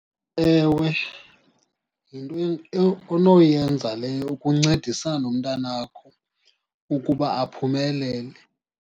Ewe, yinto onoyenza leyo ukuncedisana nomntana wakho ukuba aphumelele.